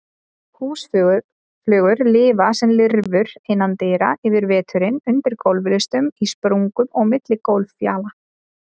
Húsflugur lifa sem lirfur innandyra yfir veturinn, undir gólflistum, í sprungum og á milli gólffjala.